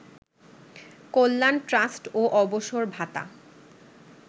কল্যাণ trust ও অবসর ভাতা